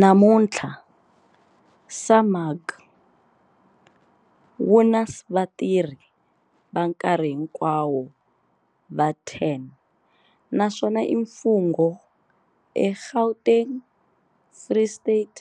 Namuntlha, SAMAG wu na vatirhi va nkarhi hinkwawo va 10 naswona i mfungho eGauteng, Free State,